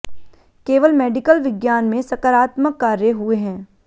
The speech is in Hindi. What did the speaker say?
केवल मेडिकल विज्ञान में सकारात्मक कार्य हुए हैं